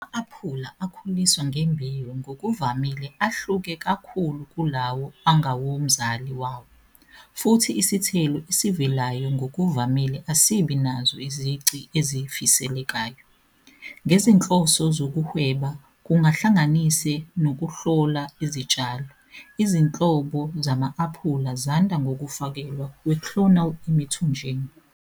Ama-aphula akhuliswa ngembewu ngokuvamile ahluke kakhulu kulawo angawomzali wawo, futhi isithelo esivelayo ngokuvamile asibi nazo izici ezifiselekayo. Ngezinhloso zokuhweba, kuhlanganise nokuhlola izitshalo, izinhlobo zama-aphula zanda ngokufakelwa kwe-clonal emithonjeni.